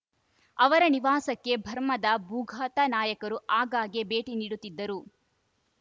ಅವರ ನಿವಾಸಕ್ಕೆ ಬರ್ಮಾದ ಭೂಗತ ನಾಯಕರು ಆಗಾಗ್ಗೆ ಭೇಟಿ ನೀಡುತ್ತಿದ್ದರು